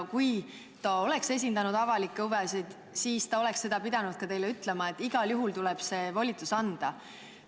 Kui ta oleks esindanud avalikke huve, siis ta oleks pidanud ka teile ütlema, et igal juhul tuleb see volitus anda.